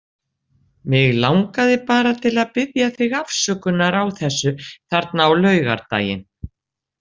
Mig langaði bara til að biðja þig afsökunar á þessu þarna á laugardaginn.